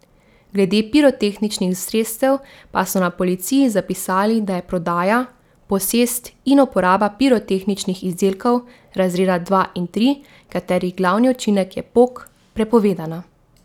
Glede pirotehničnih sredstev pa so na policiji zapisali, da je prodaja, posest in uporaba pirotehničnih izdelkov, razreda dva in tri, katerih glavni učinek je pok, prepovedana.